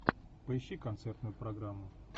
поищи концертную программу